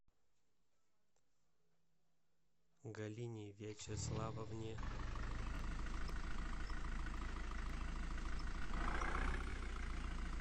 галине вячеславовне